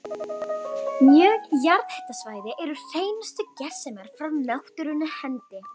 Mörg jarðhitasvæði eru hreinustu gersemar frá náttúrunnar hendi.